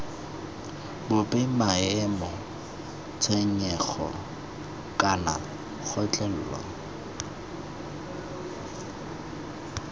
bope maemo tshenyego kana kgotlhelo